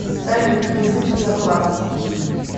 салют язык якласс